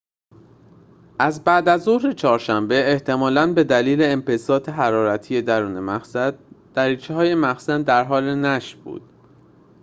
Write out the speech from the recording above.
از بعدازظهر چهارشنبه احتمالاً به دلیل انبساط حرارتی درون مخزن دریچه‌های مخزن در حال نشت بود